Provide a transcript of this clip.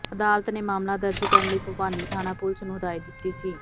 ਅਦਾਲਤ ਨੇ ਮਾਮਲਾ ਦਰਜ ਕਰਨ ਲਈ ਭੁਪਾਨੀ ਥਾਣਾ ਪੁਲੀਸ ਨੂੰ ਹਦਾਇਤ ਦਿੱਤੀ ਸੀ